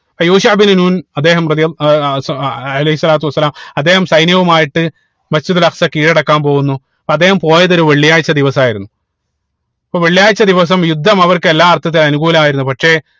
യൂഷ ഇബിനു നൂൻ അദ്ദേഹം റളിയള്ളാ ഏർ അലൈഹി സ്വലാത്തു വസ്സലാം അദ്ദേഹം സൈന്യവുമായിട്ട് Masjid ഉൽ അക്സ കീഴടക്കാൻ പോവുന്നു അപ്പൊ അദ്ദേഹം പോയത് ഒരു വെള്ളിയാഴ്ച ദിവസമായിരുന്നു അപ്പൊ വെള്ളിയാഴ്ച ദിവസം യുദ്ധം അവർക്ക് എല്ലാ അർത്ഥത്തിലും അനുകൂലമായിരുന്നു പക്ഷേ